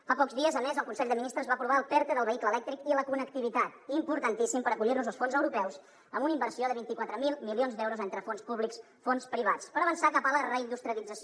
fa pocs dies a més el consell de ministres va aprovar el perte del vehicle elèctric i la connectivitat importantíssim per acollir nos als fons europeus amb una inversió de vint quatre mil milions d’euros entre fons públics fons privats per avançar cap a la reindustrialització